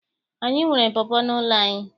Anyị nwere pọpọ n'ụlọ anyị.